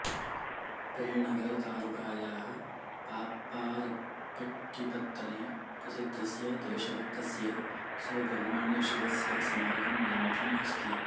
पेण्णगरतालुकायाः पाप्पारप्पट्टिपत्तने प्रसिद्धस्य देशभक्तस्य सुब्रह्मण्यशिवस्य स्मारकं निर्मितम् अस्ति